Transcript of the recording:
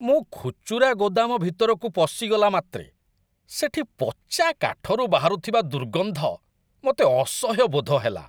ମୁଁ ଖୁଚୁରା ଗୋଦାମ ଭିତରକୁ ପଶିଗଲା ମାତ୍ରେ ସେଠି ପଚା କାଠରୁ ବାହାରୁଥିବା ଦୁର୍ଗନ୍ଧ ମୋତେ ଅସହ୍ୟ ବୋଧ ହେଲା।